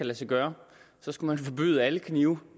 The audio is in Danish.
lade sig gøre så skulle man forbyde alle knive